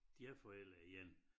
Deres forældre igen